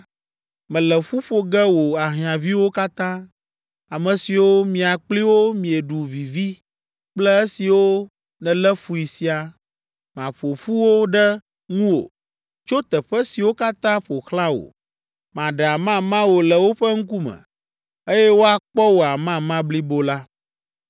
mele ƒu ƒo ge wò ahiãviwo katã, ame siwo mia kpli wo mieɖu vivi kple esiwo nèlé fui siaa, maƒo ƒu wo ɖe ŋuwò tso teƒe siwo katã ƒo xlã wò. Maɖe amama wò le woƒe ŋkume, eye woakpɔ wò amama blibo la.